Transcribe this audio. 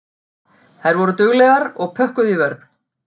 Þær voru duglegar og pökkuðu í vörn.